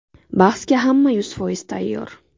Bahsga hamma yuz foiz tayyor.